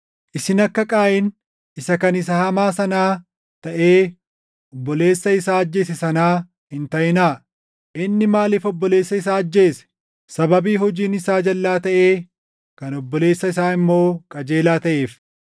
Isin akka Qaayin isa kan isa hamaa sanaa taʼee obboleessa isaa ajjeese sanaa hin taʼinaa; inni maaliif obboleessa isaa ajjeese? Sababii hojiin isaa jalʼaa taʼee, kan obboleessa isaa immoo qajeelaa taʼeef.